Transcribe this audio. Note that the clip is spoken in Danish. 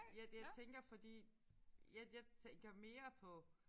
Jeg jeg tænker fordi jeg jeg tænker mere på